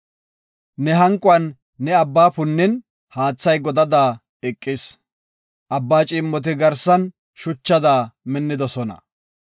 Ne hanquwan ne Abbaa punnin, haathay godada eqis. Abbaa ciimmoti garsan shuchada minnidosona.